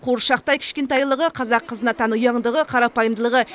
қуыршақтай кішкентайлығы қазақ қызына тән ұяңдығы қарапайымдылығы